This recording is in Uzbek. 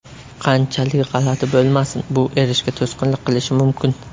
Qanchalik g‘alati bo‘lmasin, bu erishga to‘sqinlik qilishi mumkin.